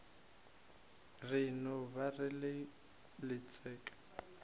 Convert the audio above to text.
re e no ba letšeke